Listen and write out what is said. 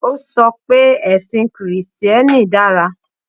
O sọ pé ẹ̀sìn Kìrìsítíẹ́nì dára